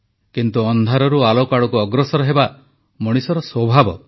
କିନ୍ତୁ ଅନ୍ଧାରରୁ ଆଲୋକ ଆଡ଼କୁ ଅଗ୍ରସର ହେବା ମଣିଷର ସ୍ୱଭାବ